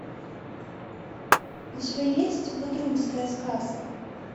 у тебя есть бодрумская сказка